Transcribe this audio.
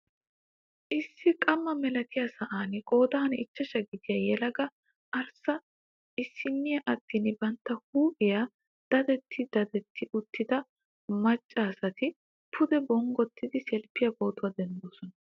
Issi qamma malattiya sa'aan qoodan ichchasaa gidiyaa yelaga, arssa, issiniya attin bantta huuphphiya dadett8 dadetti uttida maccasatti pude bonggottid sefiya pootuwaa denddoosona.